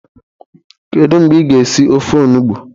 Kedu mgbe ị ga esi ofe onugbo?